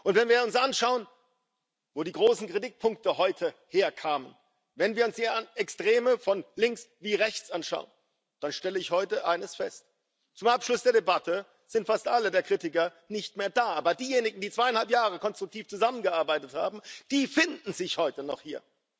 Wenn wir uns anschauen, wo die großen Kritikpunkte heute herkamen, wenn wir uns hier Extreme von links wie rechts anschauen, dann stelle ich heute eines fest Zum Abschluss der Debatte sind fast alle der Kritiker nicht mehr da, aber diejenigen, die zweieinhalb Jahre konstruktiv zusammengearbeitet haben, die finden sich heute noch hier.